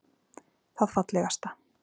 Það fallegasta